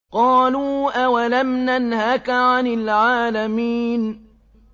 قَالُوا أَوَلَمْ نَنْهَكَ عَنِ الْعَالَمِينَ